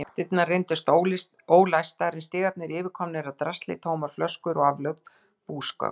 Bakdyrnar reyndust ólæstar en stigarnir yfirkomnir af drasli, tómar flöskur og aflögð búsgögn.